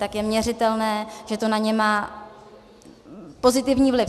A je měřitelné, že to na ně má pozitivní vliv.